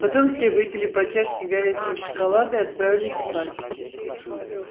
потом все выпили по чашке горячего шоколада и отправились спать